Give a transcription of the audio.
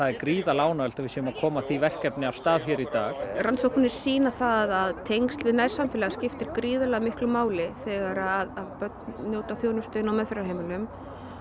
er gríðarlega ánægjulegt að við séum að koma því verkefni af stað hér í dag rannsóknir sýna að tengsl við nærsamfélag skiptir gríðarlega miklu máli þegar börn njóta þjónustu inni á meðferðarheimilum